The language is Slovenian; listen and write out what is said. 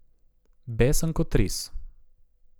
Besen kot ris.